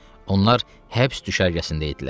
Onlar həbs düşərgəsində idilər.